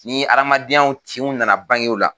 Ni hadamadenyawtinw nana bange o la